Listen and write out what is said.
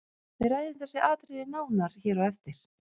Við ræðum þessi atriði nánar hér á eftir.